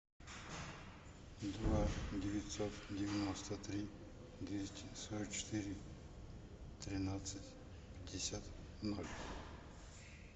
два девятьсот девяносто три двести сорок четыре тринадцать пятьдесят ноль